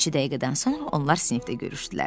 Bir neçə dəqiqədən sonra onlar sinifdə görüşdülər.